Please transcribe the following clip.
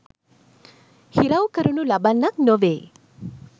හිරවි කරනු ලබන්නක් නොවේ.